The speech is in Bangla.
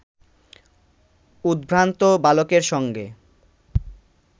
উদ্ভ্রান্ত বালকের সঙ্গে